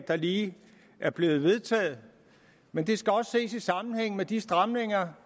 der lige er blevet vedtaget men det skal også ses i sammenhæng med de stramninger